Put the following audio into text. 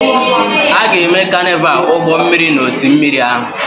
A ga-eme Carnival ụgbọ mmiri n'osimiri ahụ.